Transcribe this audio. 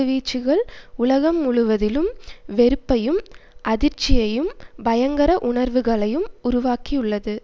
வீச்சுகள் உலகம் முழுவதிலும் வெறுப்பையும் அதிர்ச்சியையும் பயங்கர உணர்வுகளையும் உருவாக்கி உள்ளது